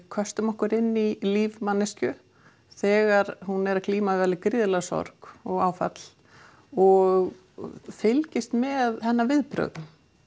köstum okkur inn í líf manneskju þegar hún er að glíma við gríðarlega sorg og áfall og fylgjumst með hennar viðbrögðum